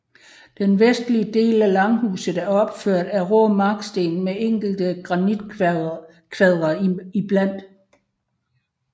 Den vestlige del af langhuset er opført af rå marksten med enkelte granitkvadre iblandt